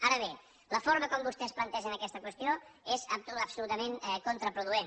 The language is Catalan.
ara bé la forma en què vostès plantegen aquesta qüestió és absolutament contraproduent